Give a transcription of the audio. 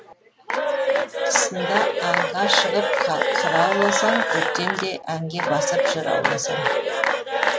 қысында аңға шығып қырауласаң көктем де әнге басып жыр ауласаң